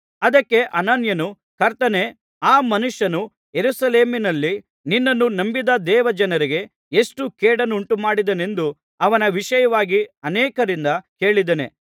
ಅದಕ್ಕೆ ಅನನೀಯನು ಕರ್ತನೇ ಆ ಮನುಷ್ಯನು ಯೆರೂಸಲೇಮಿನಲ್ಲಿ ನಿನ್ನನ್ನು ನಂಬಿದ ದೇವಜನರಿಗೆ ಎಷ್ಟೋ ಕೇಡನ್ನುಂಟುಮಾಡಿದನೆಂದು ಅವನ ವಿಷಯವಾಗಿ ಅನೇಕರಿಂದ ಕೇಳಿದ್ದೇನೆ